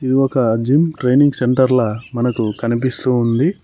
ఇది ఒక gym training సెంటర్ల మనకు కనిపిస్తూ ఉంది.